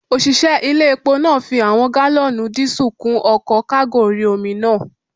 Òṣìṣẹ́ ilé epo náà fi àwọn gálọ̀nù díísù kún ọkọ̀ kágò orí-omi náà